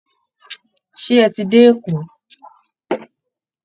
Ṣé ẹ ti dé Èkó